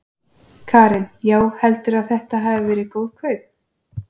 Karen: Já, heldurðu að þetta hafi verið góð kaup?